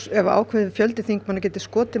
ef ákveðinn fjöldi þingmanna getur skotið